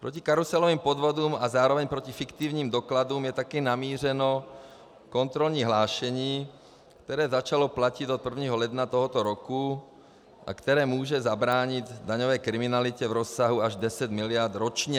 Proti karuselovým podvodům a zároveň proti fiktivním dokladům je také namířeno kontrolní hlášení, které začalo platit od 1. ledna tohoto roku a které může zabránit daňové kriminalitě v rozsahu až 10 mld. ročně.